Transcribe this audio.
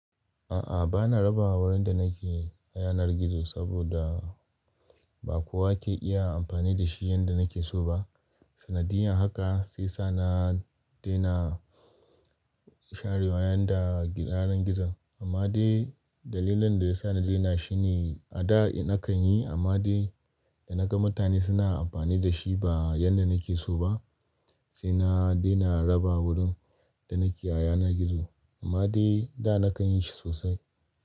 A'a, ba na raba wurin da na ke a yanar gizo saboda ba kowa ke iya amfani da shi yanda na ke so ba. Sanadiyan haka sai sa na daina shan riwaya daga yanar gizo. Amma dai dalilin da ya sa na daina shi ne a da nakan yi amma dai da na ga mutane suna amfani da shi ba yanda na ke so ba sai na daina raba wurin da na ke a yanar gizo. Amma dai da na kan yi shi sosai.